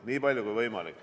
Nii palju kui võimalik.